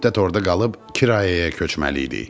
Bir müddət orda qalıb kirayəyə köçməliydik.